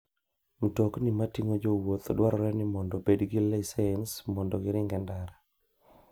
Mtokni mating'o jowuoth dwarore ni obed gi lisens mondo giring e ndara.